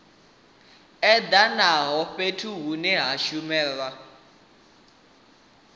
edanaho fhethu hune ha shumelwa